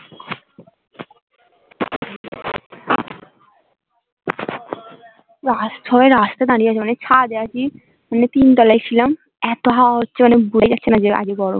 আস্ত দাঁড়িয়ে আছে মানে ছাদে দাঁড়িয়ে আছি মানে তিনতলায় ছিলাম এত হাওয়া হচ্ছে মানে বোঝাই যাচ্ছেনা যে আজ যে গরম কাল